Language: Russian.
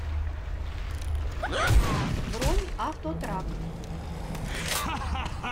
бронь автотрак